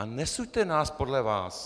A nesuďte nás podle vás!